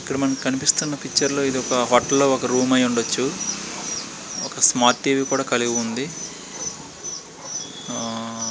ఇక్కడ మనకు కనిపిస్తున్న పిక్చర్ లో ఇది ఒక హోటల్ లో ఒక రూమ్ లో అయి ఉండొచ్చు. ఒక స్మార్ట్ టీవీ కూడా కలిగి ఉంది. ఆ--